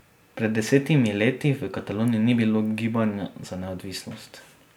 Pred desetimi leti v Kataloniji ni bilo gibanja za neodvisnost.